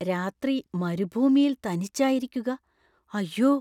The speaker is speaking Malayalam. രാത്രി മരുഭൂമിയിൽ തനിച്ചായിരിക്കുക, അയ്യോ.